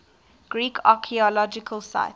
greek archaeological sites